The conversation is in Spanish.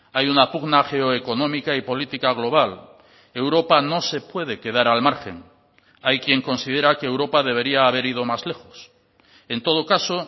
hay una pugna geoeconómica y política global europa no se puede quedar al margen hay quien considera que europa debería haber ido más lejos en todo caso